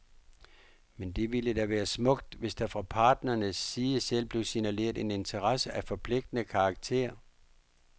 Men det ville da være smukt, hvis der fra parternes side selv blev signaleret en interesse af forpligtende karakter.